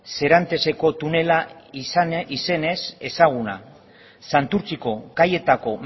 serantesko tunela izenez ezaguna santurtziko kaietako